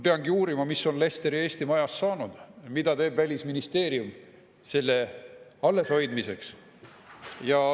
Peangi uurima, mis on Leicesteri Eesti Majast saanud, mida teeb Välisministeerium selle alleshoidmiseks.